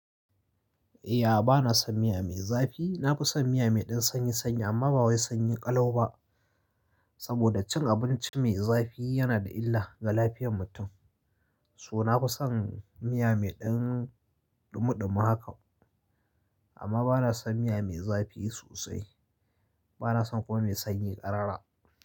Ahh, bana son miya mai zafi. Na fi son miya mai ɗan sanyi sanyi amma ba wai sanyi ƙalau ba. Saboda cin abinci mai zafi yana da illa ga lafiyar mutum. So na fi son miya mai ɗan ɗumuɗumu haka. Amma bana son miya mai zafi sosai. Bana son kuma mai sanyi ƙarara.